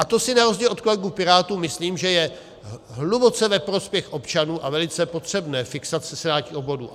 A to si na rozdíl od kolegů Pirátů myslím, že je hluboce ve prospěch občanů a velice potřebné - fixace senátních obvodů.